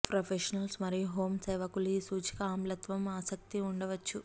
professionals మరియు home సేవకులు ఈ సూచిక ఆమ్లత్వం ఆసక్తి ఉండవచ్చు